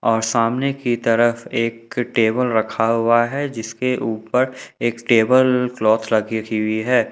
और सामने की तरफ एक टेबल रखा हुआ है जिसके ऊपर एक टेबल क्लॉथ रखी खी हुई है।